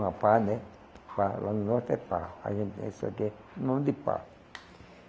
Uma pá né, lá lá no norte é Pá. A gente Um monte de pá.